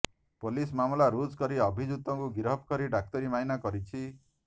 police ମାମଲା ରୁଜୁ କରି ଅଭିଯୁକ୍ତକୁ ଗିରଫ କରି ଡାକ୍ତରୀମାଇନା କରିଛି